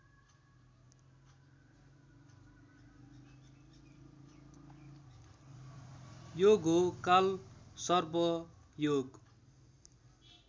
योग हो कालसर्प योग